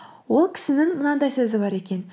ол кісінің мынандай сөзі бар екен